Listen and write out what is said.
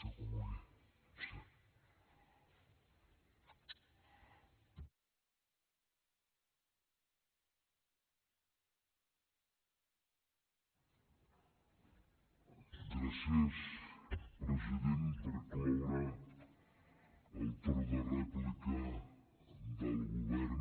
gràcies president per cloure el torn de rèplica del govern